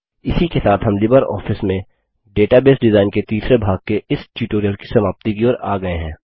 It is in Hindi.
इसी के साथ हम लिबरऑफिस में डेटाबेस डिजाइन के तीसरे भाग के इस ट्यूटोरियल की समाप्ति की ओर आ गये हैं